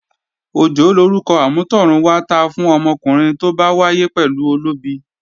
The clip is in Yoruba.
Òjó lorúkọ amútọ̀run wá ta fún ọmọkùnrin tó bá wáyé pẹ̀lú olóbi